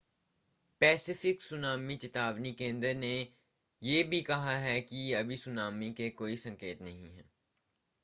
Pacific tsunami चेतावनी केंद्र ने भी यह कहा कि सुनामी के कोई संकेत नहीं हैं